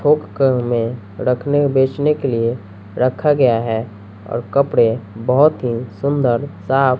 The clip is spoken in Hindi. थोक कर में रखने बेचने के लिए रखा गया है और कपड़े बहोत ही सुंदर साफ --